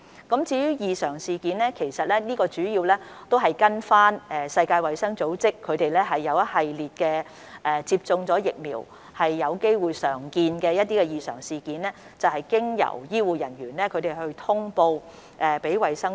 所謂的"異常事件"，主要是根據世衞所列出一系列接種疫苗後有機會常見的異常情況，須由醫護人員通報衞生署。